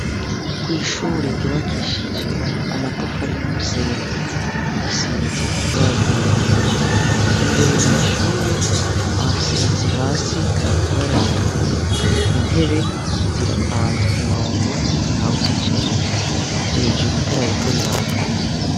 kwishure ryubakishije amatafari n' umusenyi risize ibara ry’umuhondo, imbere mwishure hasize hasi ibara ritukura, intebe zirapanze kumurongo ntawuzicayemwo, hejuru itara ririko riraka.